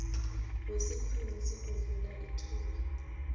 wesikhwamesi kuvula ithuba